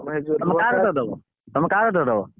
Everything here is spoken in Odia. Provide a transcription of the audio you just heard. ତମେ କା କତିରେ ଦବ ତମେ କା କତିରେ ଦବ?